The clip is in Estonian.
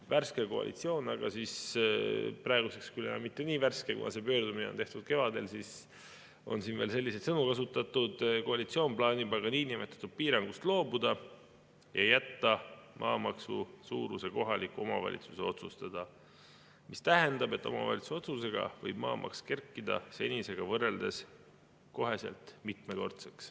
Värske koalitsioon – praeguseks küll enam mitte nii värske, kuna see pöördumine on tehtud kevadel, on siin veel selliseid sõnu kasutatud – plaanib aga niinimetatud piirangust loobuda ja jätta maamaksu suuruse kohaliku omavalitsuse otsustada, mis tähendab, et omavalitsuse otsusega võib maamaks kerkida senisega võrreldes kohe mitmekordseks.